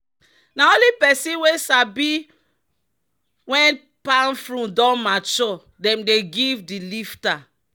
"na only person wey sabi when palm fruit don mature dem dey give di lifter."